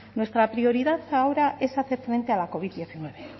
nuestra prioridad ahora es hacer frente a la covid hemeretzi